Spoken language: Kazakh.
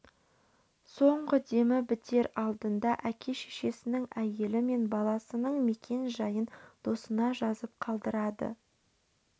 соңғы демі бітер алдында әке-шешесінің әйелі мен баласының мекен-жайын досына жазып қалдырады